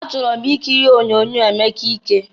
Achọrọ m ikiri onyoonyo Emeka ike.